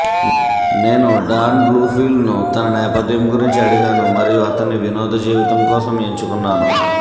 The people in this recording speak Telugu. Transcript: నేను డాన్ బ్లూంఫీల్డ్ను తన నేపథ్యం గురించి అడిగాను మరియు అతన్ని వినోద జీవితం కోసం ఎంచుకున్నాను